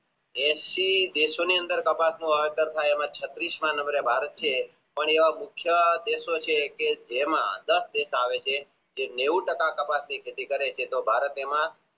એંશી દેશો ની અંદર તપાસવામાં આવે છત્રીશમાં number એ ભારત છે પણ એવા મુખ્ય દેશો છે કે જેમાં દસ દેશ આવે છે જે નેવું ટકા કપાસની ખેતી કરે છે તો ભારત એમાં